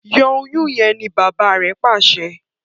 Yọ Oyún yén! ní bàbá rẹ pàṣẹ.